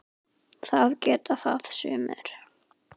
Það geta það sumir.